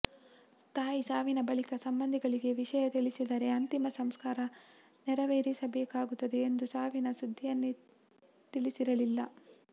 ತಾಯಿ ಸಾವಿನ ಬಳಿಕ ಸಂಬಂಧಿಗಳಿಗೆ ವಿಷಯ ತಿಳಿಸಿದರೆ ಅಂತಿಮ ಸಂಸ್ಕಾರ ನೆರವೇರಿಸಬೇಕಾಗುತ್ತದೆ ಎಂದು ಸಾವಿನ ಸುದ್ದಿಯನ್ನೇ ತಿಳಿಸಿರಲಿಲ್ಲ